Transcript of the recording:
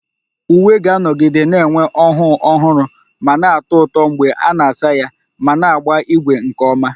Uwe ga-anọgide na-enwe ọhụụ ọhụrụ ma na-atọ ụtọ mgbe a na-asa ya ma na-agba ígwè nke ọma